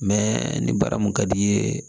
Mɛ ni baara mun ka d'i ye